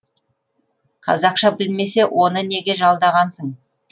қазақша білмесе оны неге жалдағансың